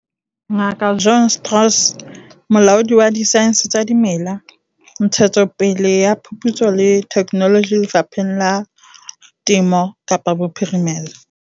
Ngaka Johann Strauss, Molaodi wa Disaense tsa Dimela, Ntshetsopele ya Phuputso le Theknoloji Lefapheng la Temo Kaapa Bophirimela.